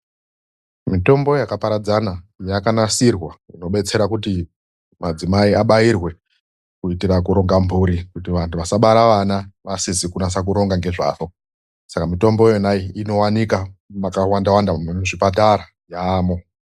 Mitombo yakaparadzana yakanasirwa inodetsera kuti madzimai abairwe kuitira kuronga mburi kuti vantu vasabara vana vasizi kunasa kuronga ngezvazvo. Saka mitombo yona iyi inowanika makawandawanda, nemuzvipatara yaamo.